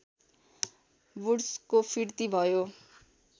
वुड्सको फिर्ती भयो